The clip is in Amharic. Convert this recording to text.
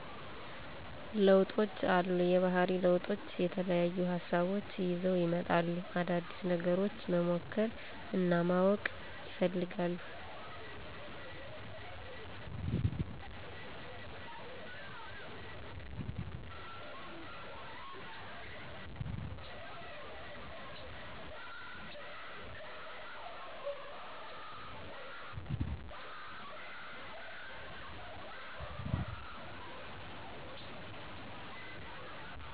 ለውጦች አሉ። የባህሪ ለውጦች የተለያዩ ሀሳቦች ይዘው ይመጣሉ። አዳዲስ ነገሮች መሞከር እናማወቅ ይፈልጋሉ።